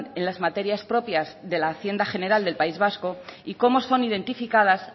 en las materias propias de la hacienda general del país vasco y cómo son identificadas